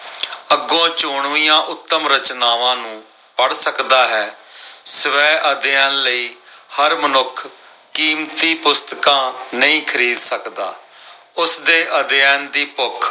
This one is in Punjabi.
ਅਗੋਂ ਚੋਣਵੀਆਂ ਉੱਤਮ ਰਚਨਾਵਾਂ ਨੂੰ ਪੜ੍ਹ ਸਕਦਾ ਹੈ। ਸਵੈ ਅਧਿਐਨ ਲਈ ਹਰ ਮਨੁੱਖ ਕੀਮਤੀ ਪੁਸਤਕਾਂ ਨਹੀਂ ਖਰੀਦ ਸਕਦਾ। ਉਸਦੇ ਅਧਿਐਨ ਦੀ ਭੁੱਖ